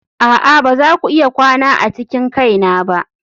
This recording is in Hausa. a'a ba za ku iya kwana a cikin kaina ba.